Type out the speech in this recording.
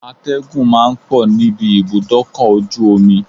Atẹ́gùn ma ń pọ̀ níbi ibùdókọ̀ ojú omi